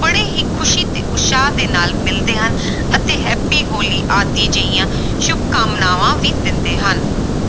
ਬੜੇ ਹੀ ਖ਼ੁਸ਼ੀ ਤੇ ਉਤਸ਼ਾਹ ਦੇ ਨਾਲ ਮਿਲਦੇ ਹਨ ਅਤੇ happy ਹੋਲੀ ਆਦਿ ਜਿਹੀਆਂ ਸ਼ੁਭਕਾਮਨਾਵਾਂ ਵੀ ਦਿੰਦੇ ਹਨ।